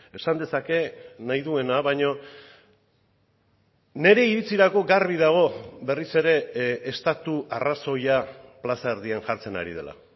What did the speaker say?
esan dezake nahi duena baino nire iritzirako garbi dago berriz ere estatu arrazoia plaza erdian jartzen ari dela